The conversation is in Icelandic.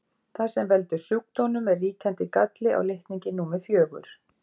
Það sem veldur sjúkdómnum er ríkjandi galli á litningi númer fjögur.